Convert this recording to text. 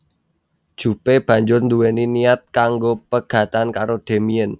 Jupe banjur nduweni niat kanggo pegatan karo Damien